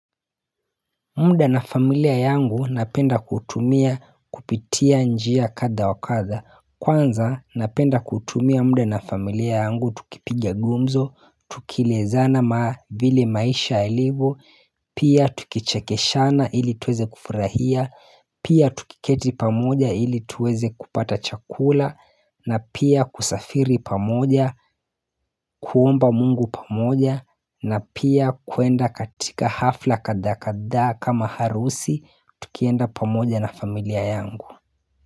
Mda na familia yangu napenda kutumia kupitia njia kadha wakadha kwanza napenda kutumia mda na familia yangu tukipiga gumzo Tukilezana maa vile maisha yalivo Pia tukichekeshana ili tuweze kufurahia Pia tukiketi pamoja ili tuweze kupata chakula na pia kusafiri pamoja kuomba mungu pamoja na pia kwenda katika hafla kadhaa kadhaa kama harusi tukienda pamoja na familia yangu.